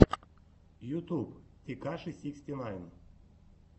ютюб текаши сиксти найн